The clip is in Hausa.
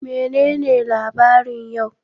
Menene labarin yau?